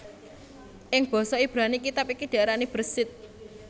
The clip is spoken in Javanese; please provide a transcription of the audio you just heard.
Ing basa Ibrani kitab iki diarani Bereshit